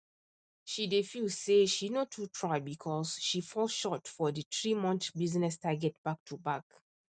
she dey feel say she no too try because she fall short for the threemonth business target back to back